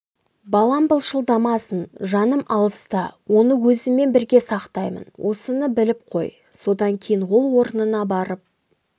балам былшылдамасын жаным алыста оны өзіммен бірге сақтаймын осыны біліп қой содан кейін ол орнына барып